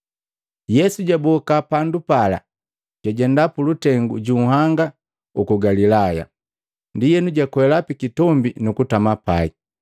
Yesu jwaboka pandu pala, jwajenda pulutengu ju nhanga uku Galilaya. Ndienu jwakwela pikitombi nukutama pai.